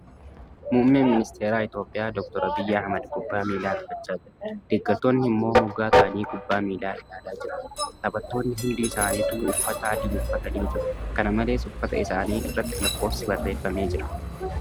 Muummeen ministara Itiyoophiyaa Dr. Abiyyi Ahmad kubbaa miilaa taphachaa jira. Deeggartoonni immoo moggaa taa'anii kubbaa ilaalaa jiru. Taphattoonni hundi isaanituu uffata adii uffatanii jiru. Kana malees, uffata isaanii irratfi lakkoifsi barreeffamee jira.